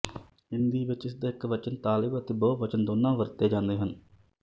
ਹਿੰਦੀ ਵਿੱਚ ਇਸਦਾ ਇੱਕ ਵਚਨ ਤਾਲਿਬ ਅਤੇ ਬਹੁਵਚਨ ਦੋਨਾਂ ਵਰਤੇ ਜਾਂਦੇ ਹਨ